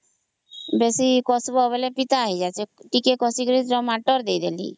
ବେଶୀ କଷିଲା ହେଲେ ପିତା ହେଇଯାଉଛି ଟିକେ କଷିକିରି tamato ଦେଇଦେଲି